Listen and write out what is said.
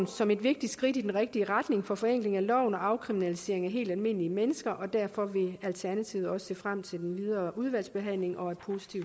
som et vigtigt skridt i den rigtige retning for forenkling af loven og afkriminalisering af helt almindelige mennesker og derfor vil alternativet også se frem til den videre udvalgsbehandling og